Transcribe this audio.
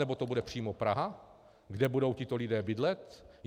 Nebo to bude přímo Praha, kde budou tito lidé bydlet?